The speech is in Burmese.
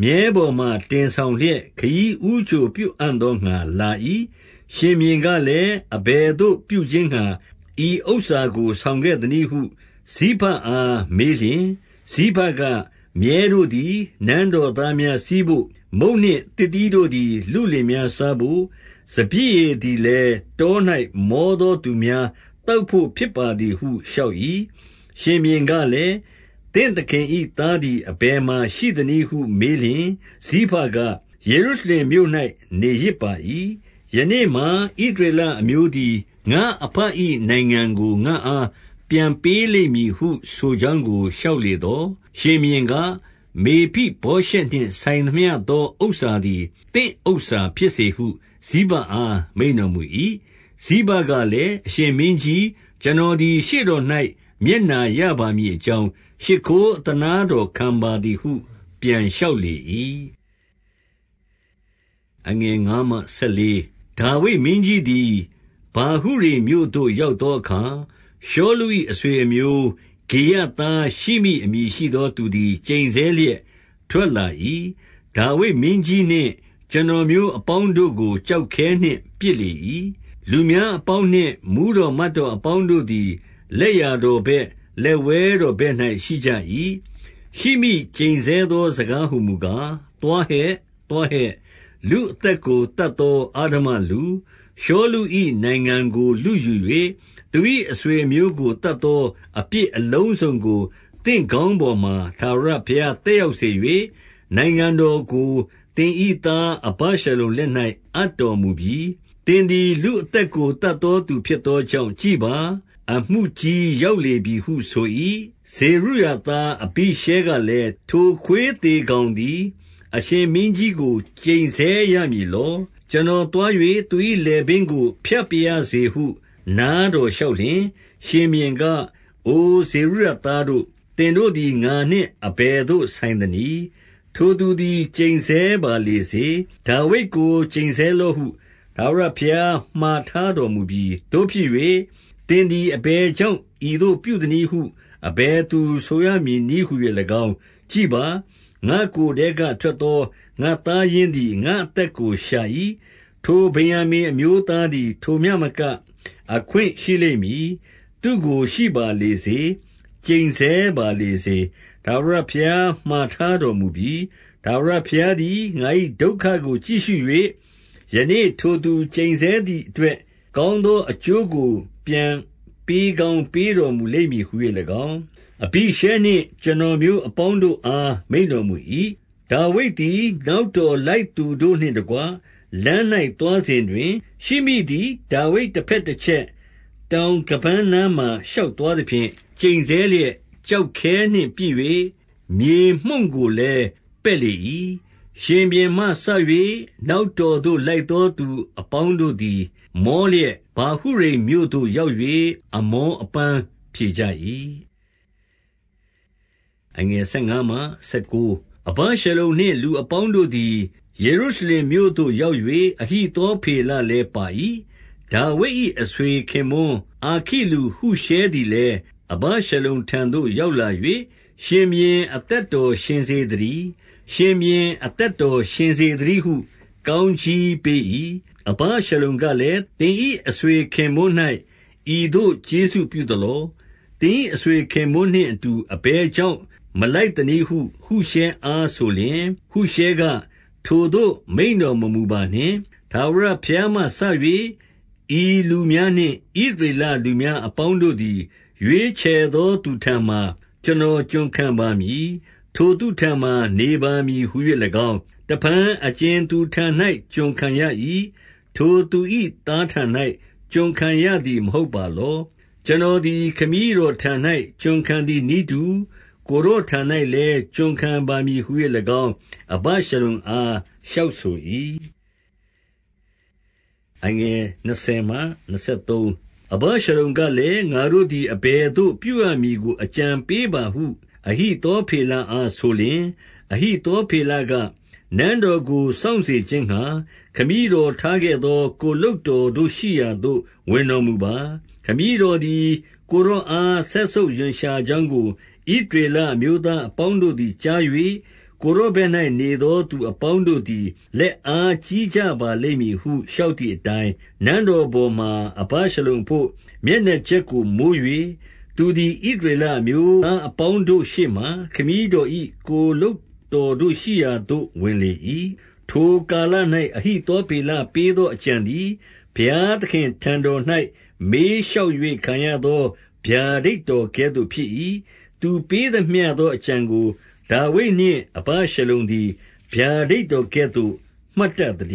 မြည်းပေါ်မှာ တင်ဆောင်လျက် ခရီးဦးကြိုပြုအံ့သောငှါ လာ၏။ 2 ရှင်ဘုရင်ကလည်း၊ အဘယ်သို့ပြုခြင်းငှါ ဤဥစ္စာ ကို ဆောင်ခဲ့သနည်းဟု ဇိဘအားမေးလျှင်၊ ဇိဘက၊ မြည်း တို့သည် နန်းတော်သားများ စီးဘို့၊ မုန့်နှင့်သစ်သီးတို့သည် လုလင်များစားဘို့၊ စပျစ်ရည်သည်လည်း တော၌မော သောသူများသောက်ဘို့ ဖြစ်ပါသည်ဟု လျှောက်၏။ 3 ရှင်ဘုရင်ကလည်း၊ သင့်သခင်၏ သားသည် အဘယ်မှာရှိသနည်းဟုမေးလျှင် ဇိဘက၊ ယေရုရှလင်မြို့ ၌ နေရစ်ပါ၏။ ယနေ့မှာ ဣသရေလအမျိုးသည် ငါ့အဘ၏ နိုင်ငံကိုငါ့အား ပြန်ပေးလိမ့်မည်ဟု ဆိုကြောင်းကို လျှောက်လေသော်၊ 4 ရှင်ဘုရင်က၊ မေဖိဗောရှက်နှင့် ဆိုင်သမျှသော ဥစ္စာသည် သင့်ဥစ္စာဖြစ်စေဟု ဇိဘအား မိန့်တော်မူ၏။ ဇိဘကလည်း၊ အရှင်မင်းကြီး ကျွန်တော်သည်ရှေ့တော်၌ မျက်နှာရပါမည်အကြောင်း ရှိခိုးအသနားတော် ခံပါသည်ဟု ပြန်လျှောက်လေ၏။ 5 ဒါဝိဒ်မင်းကြီးသည် ဗာဟုရိမ်မြို့သို့ ရောက်သောအခါ၊ ရှောလု၏အဆွေအမျိုး ဂေရသား ရှိမိအမည်ရှိသောသူသည် ကျိန်ဆဲလျက် ထွက်လာ၏။ 6 ဒါဝိဒ်မင်းကြီးနှင့် ကျွန်တော်မျိုးအပေါင်းတို့ကို ကျောက်ခဲနှင့် ပစ်လေ၏။ လူများအပေါင်းနှင့် မှူးတော် မတ်တော်အပေါင်းတို့သည် လက်ျာတော်ဘက်၊ လက်ဝဲတော်ဘက်၌ ရှိကြ၏။ 7 ရှိမိကျိန်ဆဲသောစကားဟူမူကား၊ သွားဟဲ့၊ သွားဟဲ့။ လူ့အသက်ကို သတ်သောအဓမ္မလူ၊ 8 ရှောလု၏နိုင်ငံကို လုယူ၍ သူ၏အဆွေအမျိုးကို သတ်သောအပြစ်အလုံးစုံကို သင့်ခေါင်းပေါ်မှာ ထာဝရ သက်ရောက်စေ၍၊ နိုင်ငံတော်ကို သင်၏သား အဗရှလုံလက်၌အပ်တော်မူပြီ။ သင်သည်လူအသက်ကို သတ် သောသူဖြစ်သောကြောင့်ကြည့်ပါ။ အမှုကြီးရောက်လေပြီဟုဆို၏။ 9 ဇေရုယာသား အဘိရှဲကလည်း၊ ထိုခွေးသေကောင်သည် အရှင်မင်းကြီးကို ကျိန်ဆဲရမည်လော။ ကျွန်တော်သွား၍ သူ၏လည်ပင်းကို ဖြတ်ပါရစေဟု နားတော်လျှောက်လျှင်၊ 10 ရှင်ဘုရင်က အိုဇေရုယာသားတို့၊ သင်တို့သည်ငါနှင့်အဘယ်သို့ဆိုင်သနည်း။ ထိုသူသည် ကျိန်ဆဲပါလေ စေ။ ဒါဝိဒ်ကို ကျိန်ဆဲလော့ဟု ထာဝရဘုရား မှာထားတော်မူပြီ။ သို့ဖြစ်၍ သင်သည် အဘယ်ကြောင့် ဤသို့ ပြုသနည်းဟု အဘယ်သူဆိုရမည်နည်းဟူ၍၎င်း၊ 11 ကြည့်ပါ။ ငါ့ကိုယ်ထဲကထွက်သော ငါ့သားရင်းသည် ငါ့အသက်ကို ရှာ၏။ ထိုဗင်္ယာမိန်အမျိုးသားသည် ထိုမျှမက အခွင့်ရှိလိမ့်မည်။ သူ့ကို ရှိပါလေစေ။ ကျိန်ဆဲပါလေစေ။ ထာဝရဘုရားမှာထားတော်မူပြီ။ 12 ထာဝရဘုရားသည် ငါ၏ဒုက္ခကို ကြည့်ရှု၍ ယနေ့ထိုသူကျိန်ဆဲသည်အတွက် ကောင်းသောအကျိုး ကို ပြန်ပေးကောင်း ပေးတော်မူလိမ့်မည်ဟူ၍၎င်း၊ အဘိရှဲနှင့် ကျွန်တော်မျိုးအပေါင်းတို့အား မိန့်တော်မူ၏။ 13 ဒါဝိဒ်သည် နောက်တော်လိုက်သူတို့နှင့်တကွ လမ်း၌သွားစဉ်တွင်၊ ရှိမိသည် ဒါဝိဒ်တဘက်တချက်၊ တောင်ခါးပန်းနားမှာ ရှောက်သွားသဖြင့်၊ ကျိန်ဆဲလျက် ကျောက်ခဲနှင့် ပစ်၍ မြေမှုန့်ကိုလည်း ပက်လေ၏။ 14 ရှင်ဘုရင်မှစ၍ နောက်တော်သို့ လိုက်သောသူအပေါင်းတို့သည် မောလျက်၊ ဗာဟုရိမ်မြို့သို့ရောက်၍ အမောအပန်းဖြေကြ၏။ 15 အဗရှလုံနှင့် လူအပေါင်းတို့သည် ယေရုရှလင်မြို့သို့ ရောက်၍ အဟိသောဖေလလည်း ပါ၏။ 16 ဒါဝိဒ်၏ အဆွေခင်ပွန်းအာခိလူဟုရှဲသည်လည်း အဗရှလုံထံသို့ ရောက်လာ၍၊ ရှင်ဘုရင် အသက် တော်ရှင်စေသတည်း၊ ရှင်ဘုရင်အသက်တော်ရှင်စေသတည်းဟု ကောင်းကြီးပေး၏။ 17 အဗရှလုံကလည်း၊ သင်၏အဆွေခင်ပွန်း၌ ဤသို့ကျေးဇူးပြုသလော။ သင်၏အဆွေခင်ပွန်းနှင့်အတူ အဘယ်ကြောင့် မလိုက်သနည်းဟု ဟုရှဲအားဆိုလျှင်၊ 18 ဟုရှဲက၊ ထိုသို့မိန့်တော်မမူပါနှင့်။ ထာဝရဘုရားမှစ၍ ဤလူများနှင့် ဣသရေလလူများအပေါင်းတို့သည် ရွေးချယ်သောသူထံမှာ ကျွန်တော်ကျွန်ခံပါမည်။ ထိုသူထံမှာ နေပါမည်ဟူ၍၎င်း၊ 19 တဖန်အကြင်သူထံ၌ ကျွန်ခံရ၏။ ထိုသူ၏သားထံ၌ ကျွန်ခံရသည် မဟုတ်ပါလော။ ကျွန်တော်သည် ခမည်းတော်ထံ၌ ကျွန်ခံရတူနည်းတူ ကိုယ်တော်ထံ၌လည်း ကျွန်ခံပါမည်ဟု၍၎င်း၊ အဗရှလုံအား လျှောက်ဆို၏။ 20 အဗရှလုံကလည်း၊ ငါတို့သည်အဘယ်သို့ပြုရမည်ကို အကြံပေးပါဟု အဟိသောဖေလအား ဆိုလျှင်၊ 21 အဟိသောဖေလက၊ နန်းတော်ကို စောင့်စေခြင်းငှါ ခမည်းတော်ထားခဲ့သော ကိုယ်လုပ်တော်တို့ရှိရာသို့ ဝင်တော်မူပါ။ ခမည်းတော်သည်ကိုယ်တော်အား စက်ဆုပ်ရွံရှာကြောင်းကို ဣသရေလအမျိုးသားအပေါင်း တို့သည်ကြား၍၊ ကိုယ်တော်ဘက်၌နေသော သူအပေါင်းတို့သည် လက်အားကြီးကြပါလိမ့်မည်ဟု လျှောက်သည် အတိုင်း၊ 22 နန်းတော်ပေါ်မှာ အဗရှလုံအဘို့ မျက်နှာကြက်ကိုမိုး၍၊ သူသည် ဣသရေလအမျိုးသားအပေါင်းတို့ ရှေ့မှာ ခမည်းတော်၏ ကိုယ်လုပ်တော်တို့ ရှိရာသို့ ဝင်လေ၏။ 23 ထိုကာလ၌ အဟိသောဖေလ ပေးသောအကြံသည် ဘုရားသခင့်ထံတော်၌ မေးလျှောက်၍ခံရသော ဗျာဒိတ်တော်ကဲ့သို့ ဖြစ်၏။ သူပေးသမျှသောအကြံကို ဒါဝိဒ်နှင့် အဗရှလုံသည် ဗျာဒိတ်တော်ကဲ့သို့ မှတ်တတ် သတ